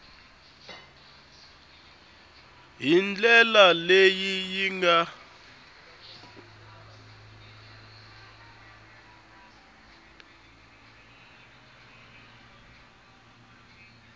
hi ndlela leyi yi nga